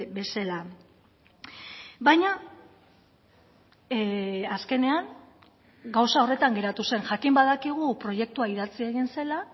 bezala baina azkenean gauza horretan geratu zen jakin badakigu proiektua idatzi egin zela